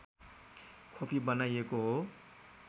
खोपी बनाइएको हो